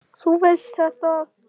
Þú veist þetta.